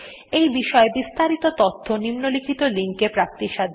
এই বিষয় বিস্তারিত তথ্য নিম্নলিখিত লিঙ্ক এ প্রাপ্তিসাধ্য